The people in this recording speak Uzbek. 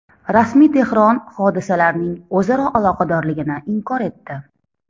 Rasmiy Tehron hodisalarning o‘zaro aloqadorligini inkor etdi.